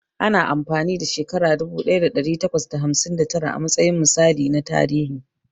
Ana amfani ɗa shekara dubu ɗaya ɗari takwas da hamsin da tara a matsayin misali na tarihi.